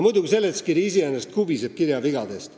Muidugi, seletuskiri kubiseb kirjavigadest.